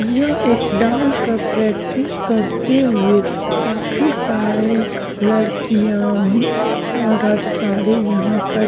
यह एक डांस का प्रैक्टिस करते हुए काफी सारे लड़कियाँ हम्म औरत सारे यहाँ पर --